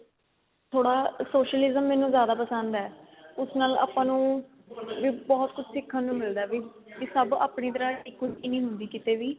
ਥੋੜਾ socialism ਮੈਨੂੰ ਜਿਆਦਾ ਪਸੰਦ ਏ ਉਸ ਨਾਲ ਆਪਾਂ ਨੂੰ ਵੀ ਬਹੁਤ ਕੁੱਝ ਸਿਖਣ ਨੂੰ ਮਿਲਦਾ ਵੀ ਬੀ ਸਭ ਆਪਣੀ ਤਰਾਂ ਤਿਕੁਰਤੀ ਨਹੀਂ ਹੁੰਦੀ ਕਿਸੇ ਦੀ